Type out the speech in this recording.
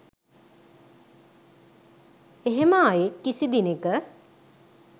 එහෙම අයෙක් කිසි දිනෙක